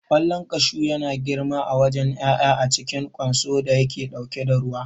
Ƙwallon kashu yana girma a wajen ƴaƴan a cikin ƙwanso da yake ɗauke da ruwa.